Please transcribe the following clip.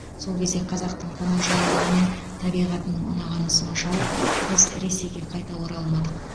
сол кезде қазақтың қонақжайлылығы мен табиғатының ұнағаны соншалық біз ресейге қайта оралмадық